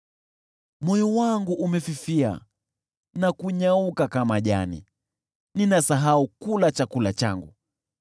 Moyo wangu umefifia na kunyauka kama jani, ninasahau kula chakula changu.